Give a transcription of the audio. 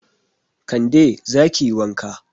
Kande, za ki yi wanka.